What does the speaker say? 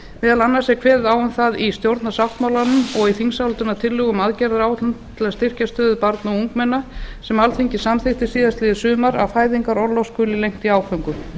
meðal annars er kveðið á um það í stjórnarsáttmálanum og í þingsályktunartillögum um aðgerðaráætlun til að styrkja stöðu barna og ungmenna sem alþingi samþykkti síðastliðið sumar að fæðingarorlof skuli lengt í áföngum